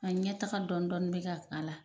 A ɲɛ taga dɔn dɔni be ka k'ala